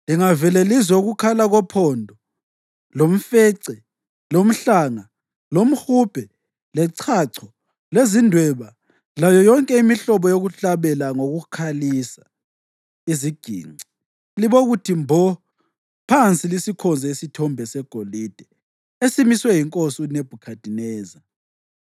Lingavele lizwe ukukhala kophondo, lomfece, lomhlanga, lomhubhe, lechacho, lezindweba layo yonke imihlobo yokuhlabela ngokukhalisa iziginci libokuthi mbo phansi lisikhonze isithombe segolide esimiswe yinkosi uNebhukhadineza.